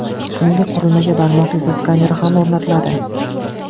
Shuningdek, qurilmaga barmoq izi skaneri ham o‘rnatiladi.